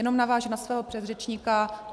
Jenom navážu na svého předřečníka.